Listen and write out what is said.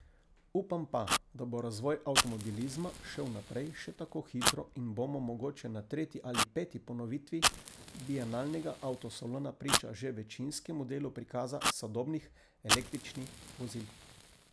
Upam pa, da bo razvoj avtomobilizma šel naprej še tako hitro in bomo mogoče na tretji ali peti ponovitvi bienalnega avtosalona priča že večinskemu delu prikaza sodobnih električni vozil.